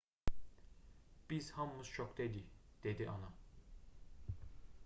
biz hamımız şokda idik dedi ana